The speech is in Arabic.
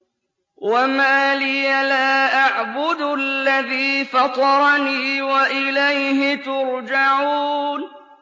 وَمَا لِيَ لَا أَعْبُدُ الَّذِي فَطَرَنِي وَإِلَيْهِ تُرْجَعُونَ